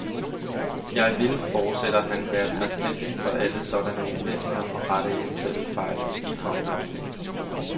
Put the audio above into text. Jeg vil, fortsætter han, være taknemmelig for alle sådanne indvendinger og rette eventuelle fejl i kommende oplag.